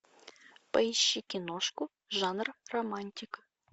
поищи киношку жанр романтик